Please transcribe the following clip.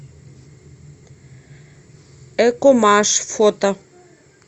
экомаш фото